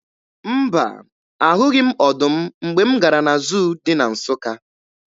Mba, ahụghị m ọdụm mgbe m gara na zuu dị na Nsụka.